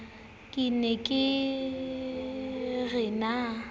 ke ne ke re na